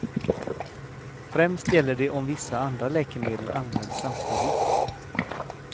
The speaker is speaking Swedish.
Främst gäller det om vissa andra läkemedel används samtidigt.